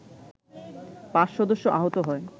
৫ সদস্য আহত হয়